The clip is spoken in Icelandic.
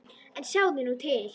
En sjáðu nú til!